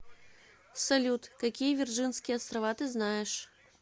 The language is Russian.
салют какие вирджинские острова ты знаешь